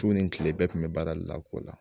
Ju ni kile bɛɛ tun bɛ baara de la ko la